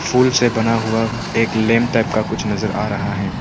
फूल से बना हुआ एक लैंप टाइप का कुछ नजर आ रहा है।